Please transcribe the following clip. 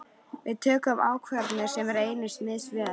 Við tökum ákvarðanir sem reynast misvel.